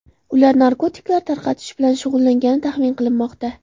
Ular narkotiklar tarqatish bilan shug‘ullangani taxmin qilinmoqda.